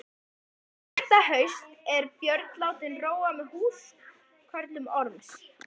Þetta haust var Björn látinn róa með húskörlum Orms.